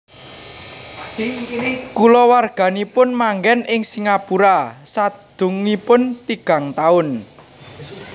Kulawarganipun manggen ing Singapura sadangunipun tigang taun